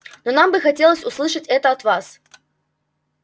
но нам бы хотелось услышать это от вас